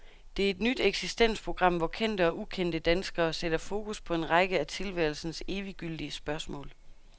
Det er et nyt eksistensprogram, hvor kendte og ukendte danskere sætter fokus på en række af tilværelsens eviggyldige spørgsmål.